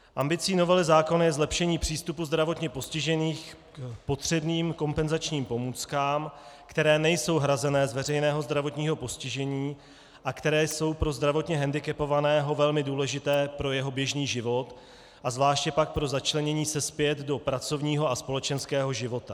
Ambicí novely zákona je zlepšení přístupu zdravotně postižených k potřebným kompenzačním pomůckám, které nejsou hrazené z veřejného zdravotního postižení a které jsou pro zdravotně hendikepovaného velmi důležité pro jeho běžný život a zvláště pak pro začlenění se zpět do pracovního a společenského života.